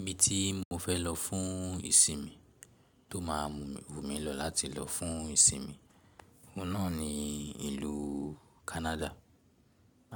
Ibi tí mo fẹ́ lọ fún ìsinmi tó máa mu wù mí lọ láti lọ fún ìsinmi, òun náà ni ìlú Canada